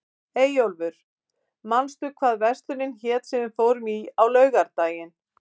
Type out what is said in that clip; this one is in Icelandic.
Eyjólfur, manstu hvað verslunin hét sem við fórum í á laugardaginn?